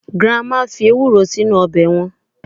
grandma fi ewuro sinu obe wan